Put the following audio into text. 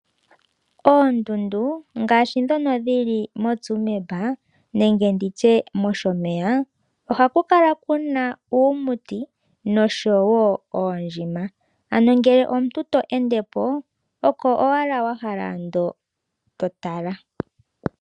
Oondundu ngaashi ndhono dhili moTsumeb nenge nditye mOshomeya, ohaku kala ku na uumuti noshowo oondjima. Ano ngele omuntu to ende po, oko owala wahala ando to tala.